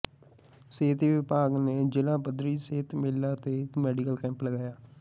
ਸਿਹਤ ਵਿਭਾਗ ਨੇ ਜ਼ਿਲ੍ਹਾ ਪੱਧਰੀ ਸਿਹਤ ਮੇਲਾ ਤੇ ਮੈਡੀਕਲ ਕੈਂਪ ਲਗਾਇਆ